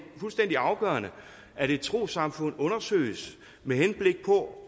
fuldstændig afgørende at et trossamfund undersøges med henblik på